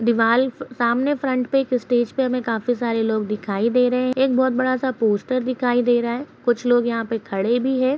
दीवाल सामने फ्रंट पे एक स्टेज पे हमे काफी सारे लोग दिखाई दे रहे एक बहोत बड़ा सा पोस्टर दिखाई दे रहा है कुछ लोग यहाँ पे खड़े भी है ।